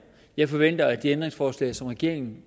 jeg forventer at de ændringsforslag som regeringen